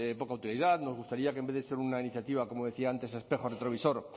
poca utilidad nos gustaría que en vez de ser una iniciativa como decía antes espejo retrovisor